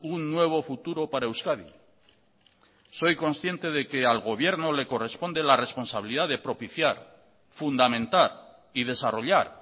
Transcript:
un nuevo futuro para euskadi soy consciente de que al gobierno le corresponde la responsabilidad de propiciar fundamentar y desarrollar